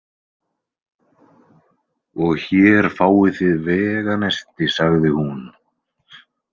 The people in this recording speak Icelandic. Og hér fáið þið veganesti, sagði hún.